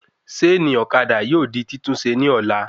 Ṣéènì ọ̀kadà yóò di titunṣe ní ọ̀la